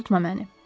Tutma məni.